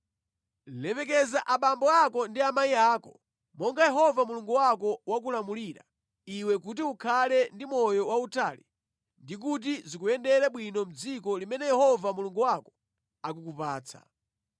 “Lemekeza abambo ako ndi amayi ako monga Yehova Mulungu wako wakulamulira iwe kuti ukhale ndi moyo wautali ndi kuti zikuyendere bwino mʼdziko limene Yehova Mulungu wako akukupatsa.